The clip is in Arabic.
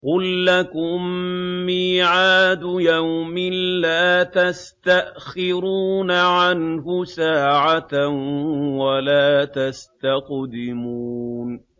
قُل لَّكُم مِّيعَادُ يَوْمٍ لَّا تَسْتَأْخِرُونَ عَنْهُ سَاعَةً وَلَا تَسْتَقْدِمُونَ